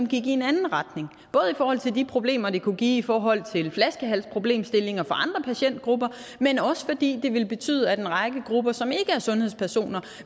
gik i en anden retning både i forhold til de problemer det kunne give i forhold til flaskehalsproblemstillinger for andre patientgrupper men også fordi det ville betyde at en række grupper som ikke er sundhedspersoner